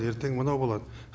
ертең мынау болады